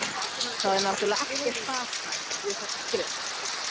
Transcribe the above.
Það er náttúrlega ekkert saknæmt við þessi skrif.